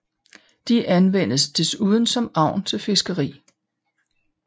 De anvendes desuden som agn til fiskeri